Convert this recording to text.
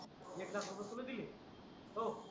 एक लाख रुपये तुला दिले हो